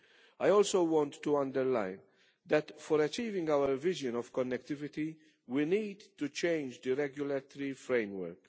I also want to underline that, for achieving our vision of connectivity, we need to change the regulatory framework.